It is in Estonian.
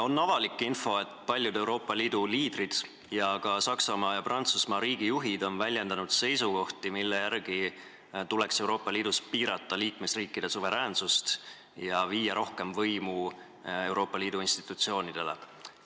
On avalik info, et paljud Euroopa Liidu liidrid ning ka Saksamaa ja Prantsusmaa riigijuhid on väljendanud seisukohti, mille järgi tuleks Euroopa Liidus piirata liikmesriikide suveräänsust ja anda rohkem võimu Euroopa Liidu institutsioonidele.